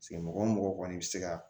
mɔgɔ o mɔgɔ kɔni bɛ se ka